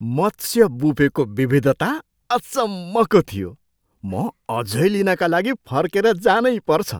मत्स्य बुफेको विविधता अचम्मको थियो! म अझै लिनका लागि फर्केर जानैपर्छ।